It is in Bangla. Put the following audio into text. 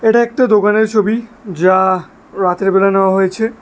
এটা একটা দোকানের ছবি যা রাতের বেলা নেওয়া হয়েছে।